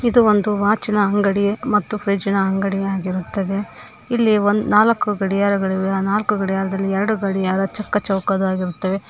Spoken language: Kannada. ಇದು ಒಂದು ವಾಚಿ ನ ಅಂಗಡಿ ಮತ್ತು ಫ್ರಿಡ್ಜ್ ನ ಅಂಗಡಿಯಾಗಿರುತ್ತದೆ ಇಲ್ಲಿ ನಾಲ್ಕು ಗಡಿಯಾರಗಳಿವೆ ಆ ನಾಲ್ಕು ಗಡಿಯಾರದಲ್ಲಿ ಎರಡು ಗಡಿಯಾರ ಚಿಕ್ಕ ಚೌಕವಾಗಿರುತ್ತವೆ.